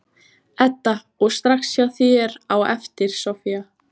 Edda: Og strax hjá þér á eftir, Soffía?